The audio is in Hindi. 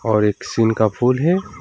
और एक सीन का फूल है।